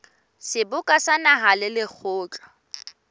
seboka sa naha le lekgotla